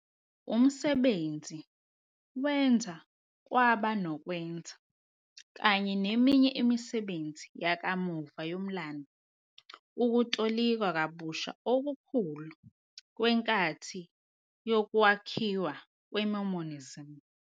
Umsebenzi wenza kwaba nokwenzeka, kanye neminye imisebenzi yakamuva yomlando, ukutolikwa kabusha okukhulu kwenkathi yokwakhiwa kweMormonism.